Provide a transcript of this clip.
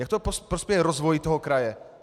Jak to prospěje rozvoji toho kraje?